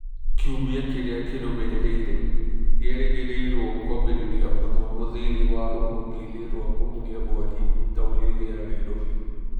Kiumia kĩrĩa kĩrũmĩrĩire nĩ erĩgĩrĩirũo kwambĩrĩria mathomo thĩiniĩ wa rũhonge-inĩ rwa kũhoria mwaki taũni-inĩ ya Nairobi.